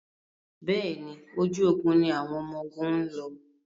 Bẹ́ẹ̀ni, ojú ogun ni àwọn ọmọgun ń lọ.